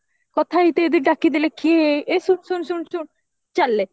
କଥା ଯଦି ଡାକିଦେଲେ କିଏ ଏଇ ଶୁଣ ଶୁଣ ଶୁଣ ଶୁଣ ଚାଲିଲେ